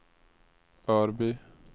Örby